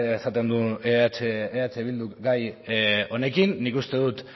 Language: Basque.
esaten duen eh bilduk gai honekin nik uste dut